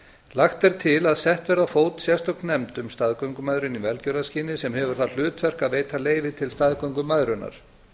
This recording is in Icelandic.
lagt er til að sett verði á fót sérstök nefnd um staðgöngumæðrun í velgjörðarskyni sem hefur það hlutverk að veita leyfi til staðgöngumæðrunar